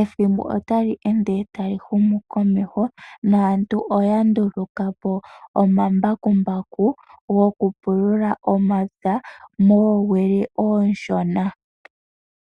ethimbo otali ende tali humu komeho naantu oya nduluka po omambakumbaku gokupulula omapya moowili oonshona.